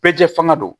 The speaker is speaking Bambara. Bɛɛ jɛ fanga don